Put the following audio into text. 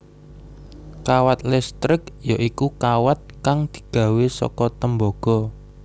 Kawat listrik ya iku kawat kang digawé saka tembaga